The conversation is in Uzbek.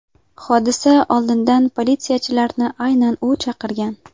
Hodisa oldidan politsiyachilarni aynan u chaqirgan.